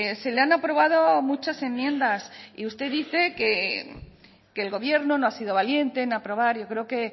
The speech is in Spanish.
se le han aprobado muchas enmiendas y usted dice que el gobierno no ha sido valiente en aprobar yo creo que